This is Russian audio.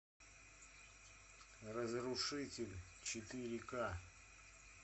разрушитель четыре ка